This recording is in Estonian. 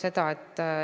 See tõusis 500 euroni.